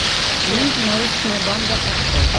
лента научная банда открой